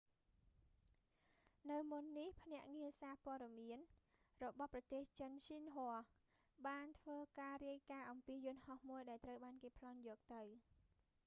នៅមុននេះ ទីភ្នាក់ងារសារព័ត៌មានរបស់ប្រទេសចិន xinhua ស៊ីនហួ បានធ្វើការរាយការណ៍អំពីយន្តហោះមួយដែលត្រូវបានគេប្លន់យកទៅ